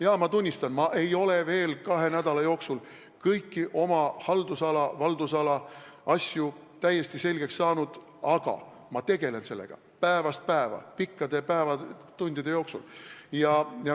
Jaa, ma tunnistan, ma ei ole kahe nädala jooksul veel kõiki oma haldusala või valdusala asju täiesti selgeks saanud, aga ma tegelen sellega päevast päeva, pikkade tundide jooksul.